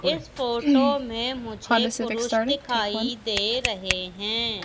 इस फोटो में मुझे पुरूष दिखाई दे रहे हैं।